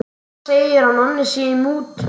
Mamma segir að Nonni sé í mútum.